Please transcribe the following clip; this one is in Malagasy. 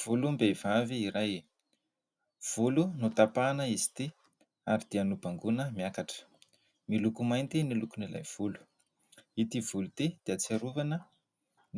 Volom-behivavy iray, volo notapahana izy ity ary dia nobangoina miakatra. Miloko mainty ny lokon'ilay volo. Ity volo ity dia ahatsiarovana